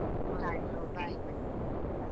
ಆಯ್ತು okay bye bye .